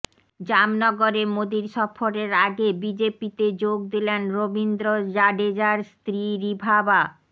জামনগরে মোদীর সফরের আগে বিজেপিতে যোগ দিলেন রবীন্দ্র জাডেজার স্ত্রী রিভাবা